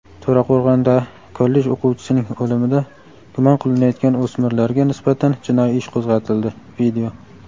To‘raqo‘rg‘onda kollej o‘quvchisining o‘limida gumon qilinayotgan o‘smirlarga nisbatan jinoiy ish qo‘zg‘atildi.